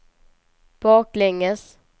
baklänges